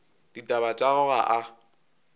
ditaba tša gagwe ga a